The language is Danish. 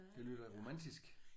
Det lyder da romantisk